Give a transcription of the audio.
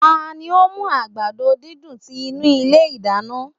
Tani o mu agbado didùn ti inu ile idana?